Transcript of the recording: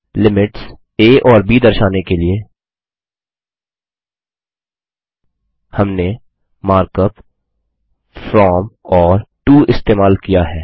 limits आ और ब दर्शाने के लिए हमने मार्कअप फ्रॉम और टो इस्तेमाल किया है